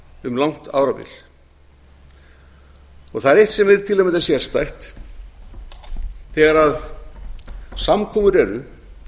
um langt árabil það er eitt sem er til að mynda sérstætt þegar samkomur eru